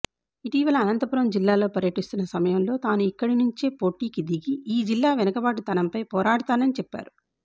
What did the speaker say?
ఇటీవల అనంతపురం జిల్లాలో పర్యటిస్తున్న సమయంలో తాను ఇక్కడి నుంచే పోటీకి దిగి ఈ జిల్లా వెనుకబాటుతనంపై పోరాడుతానని చెప్పారు